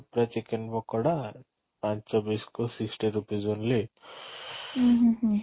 chicken pakora ପାଞ୍ଚ piece କୁ sixty rupees only